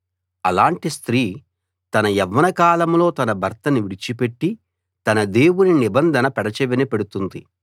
అలాంటి స్త్రీ తన యవ్వనకాలంలో తన భర్తను విడిచిపెట్టి తన దేవుని నిబంధన పెడచెవిన పెడుతుంది